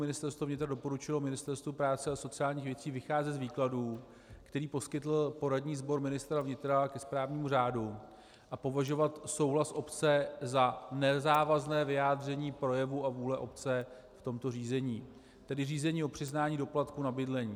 Ministerstvo vnitra doporučilo Ministerstvu práce a sociálních věcí vycházet z výkladu, který poskytl poradní sbor ministra vnitra ke správnímu řádu, a považovat souhlas obce za nezávazné vyjádření projevu a vůle obce v tomto řízení, tedy řízení o přiznání doplatku na bydlení.